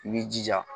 I b'i jija